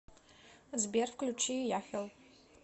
сбер включи яхел